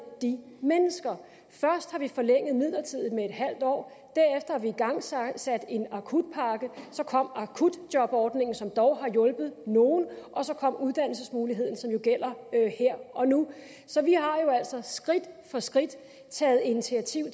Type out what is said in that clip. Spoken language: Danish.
de mennesker først har vi forlænget midlertidigt med en halv år derefter har vi igangsat en akutpakke så kom akutjobordningen som dog har hjulpet nogle og så kom uddannelsesmuligheden som jo gælder her og nu så vi har jo altså skridt for skridt taget initiativ